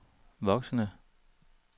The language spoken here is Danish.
voksende